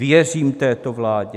Věřím této vládě?